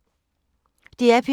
DR P2